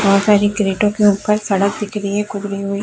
बोहत सारी क्रैटो के ऊपर सड़क दिख रही है कुबरी हुई --